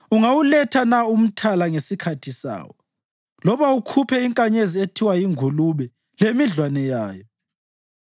Ungawuletha na uMthala ngesikhathi sawo loba ukhuphe inkanyezi ethiwa yiNgulube lemidlwane yayo?